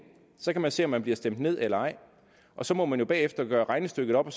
så kan man se om man bliver stemt ned eller ej og så må man jo bagefter gøre regnestykket op